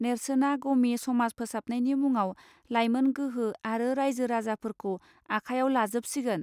नेर्सोना गमि समाज फोसाबनायनि मुङाव लाइमोन गोहो आरो रायजो राजाफोरखौ आखायाव लाजोबसिगोन